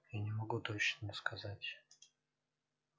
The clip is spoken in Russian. я не могу точно сказать